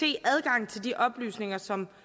adgang til de oplysninger som